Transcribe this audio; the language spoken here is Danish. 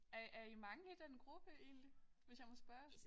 Er er I mange i den gruppe egentlig hvis jeg må spørge